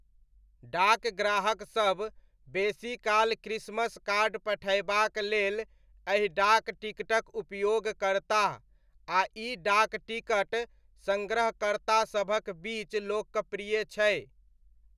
डाक ग्राहकसब बेसीकाल क्रिसमस कार्ड पठयबाक लेल एहि डाक टिकटक उपयोग करताह, आ इ डाक टिकट सङ्ग्रहकर्तासभक बीच लोकप्रिय छै।